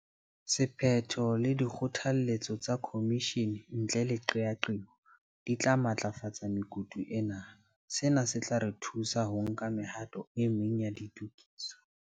Sephetho le dikgotha letso tsa khomishene ntle le qeaqeo di tla matlafatsa mekutu ena. Sena se tla re thusa ho nka mehato e meng ya ditokiso.